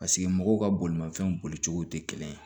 Paseke mɔgɔw ka bolimanfɛn boli cogo tɛ kelen ye